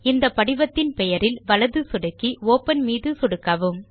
இந்த படிவத்தின் பெயரில் வலது சொடுக்கி ஒப்பன் மீதும் சொடுக்கவும்